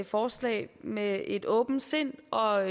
forslag med et åbent sind og